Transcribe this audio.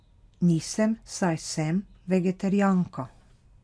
Nisem, saj sem vegetarijanka.